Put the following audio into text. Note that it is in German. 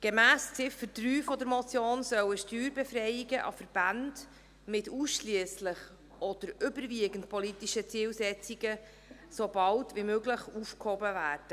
Gemäss der Ziffer 3 dieser Motion sollen Steuerbefreiungen an Verbände mit ausschliesslich oder überwiegend politischen Zielsetzungen so bald wie möglich aufgehoben werden.